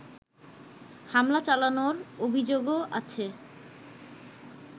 হামলা চালানোর অভিযোগও আছে